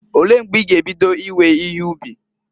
Olee mgbe i ga ebido iwe ihe ubi?